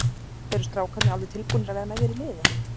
Eru strákarnir alveg tilbúnir að vera með þér í liði?